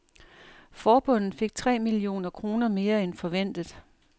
Forbundet fik tre millioner kroner mere end forventet.